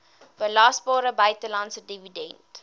belasbare buitelandse dividend